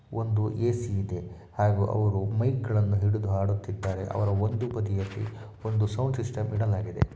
ಒಂದು ಸ್ಟೇಜ್ ಕಾಣ್ತಾ ಇದೆ ಇಬ್ಬರೂ ನಿಂತಿದ್ದಾರೆ ಏ ಸಿ ಇದೆ ಸಾಂಗನೂ ಆಡ್ತಾಇದ್ದಾರೆ.